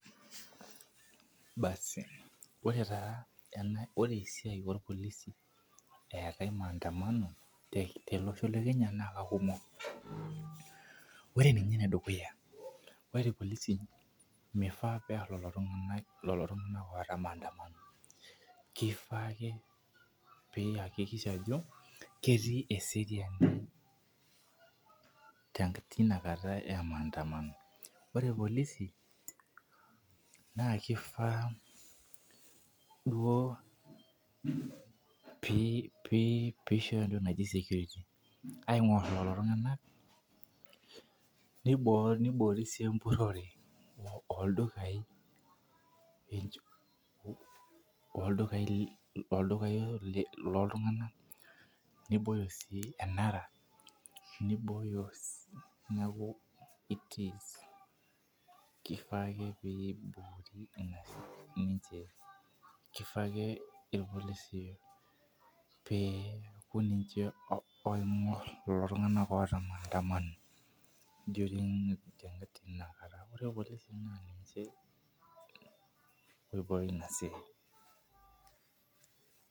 Basi ore taa ena ore esiai orpolisi eetae maandamano tolosho le kenya naa kakumok ore ninye enedukuya ore irpolisi mifaa pearr lelo tung'ana lelo tung'ana oota maandamano kifaa ake piyakikisha ajo ketii eseriani tenkata tina kata e maandamano ore irpolisi naa kifaa duo pee piishoyo entoki naji security aing'orr lelo tung'anak neibo neiboori sii empurrore oldukai pincho oldukai le oldukai loltung'anak nibooyo sii enara nibooyo sii neeku it is kifaa ake peyie iboori ina siai ninche kifaa ake irpolisi pee eeku ninche oh oing'orr kulo tung'anak oota maandamano during teina kata ore irpolisi naa ninche oibooyo ina siai.